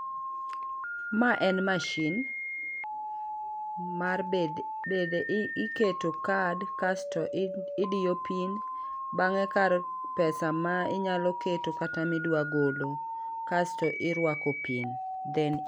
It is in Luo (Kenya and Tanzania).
Ma en machine mar bede i keto card kasto i diyo pin bange kar pesa ma inyalo keto kata mi dwaro golo kasto i rwako pin thank you